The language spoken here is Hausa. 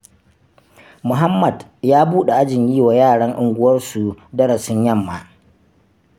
Muhammad ya buɗe ajin yiwa yaran unguwarsu darasin yamma.